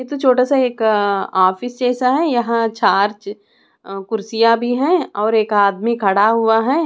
ये तो छोटासा एक अं ऑफिस जैसा हैं यहां चार कुर्सियां भी हैं और एक आदमी खड़ा हुआ हैं।